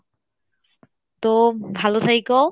তো ভালো থাইকো